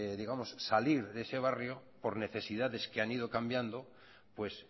salir de ese barrio por necesidades que han ido cambiando pues